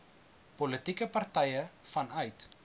politieke partye vanuit